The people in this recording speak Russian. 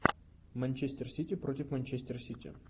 манчестер сити против манчестер сити